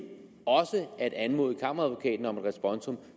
også at anmode kammeradvokaten om et responsum